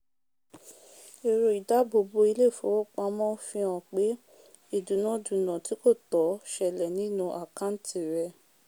èro ìdábòbo ilé ìfowópamó fi hàn pé ìdúnà- dúnà tí kò tọ̀ selẹ̀ nínú àkàntì rè